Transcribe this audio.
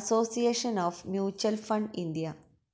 association of mutual fund India